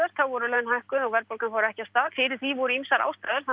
voru laun hækkuð og verðbólgan fór ekki af stað fyrir því voru ýmsar